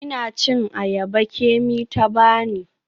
Ina cin ayaba Kemi ta bani.